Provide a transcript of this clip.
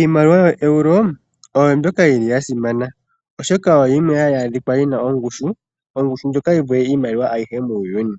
Iimaliwa ya Euro oyo mbyoka yili ya simana, oshoka oyo yimwe hayi adhikwa yina ongushu, ongushu ndjoka yi vule iimaliwa ayihe muuyuni.